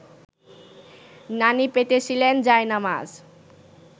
নানি পেতেছিলেন জায়নামাজ